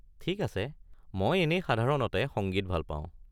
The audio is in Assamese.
ঠিক আছে, মই এনেই সাধাৰণতে সংগীত ভাল পাওঁ।